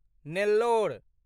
Nellore